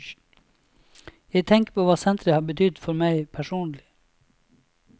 Jeg tenker på hva senteret har betydd for meg personlig.